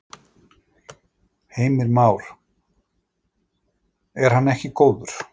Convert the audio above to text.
Heimir Már: Er hann ekki góður?